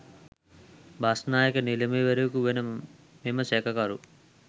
බස්‌නායක නිලමේවරයකු වන මෙම සැකකරු